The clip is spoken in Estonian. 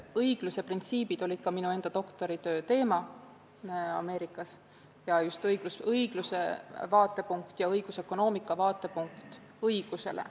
Õigluse printsiibid olid ka minu doktoritöö teema Yale'i Ülikoolis, sh õigluse vaatepunkt ja õigusökonoomika vaatepunkt õigusele.